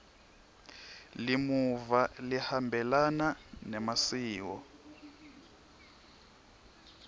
limuva lihambelana nemasiko